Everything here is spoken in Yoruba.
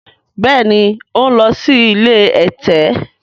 béèni o n ló sì ilé ẹ̀tẹ̀.